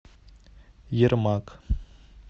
ермак